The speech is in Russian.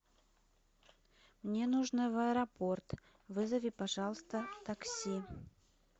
мне нужно в аэропорт вызови пожалуйста такси